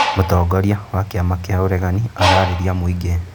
Mũtongoria wa kĩama kĩa ũregani ararĩria mũingĩ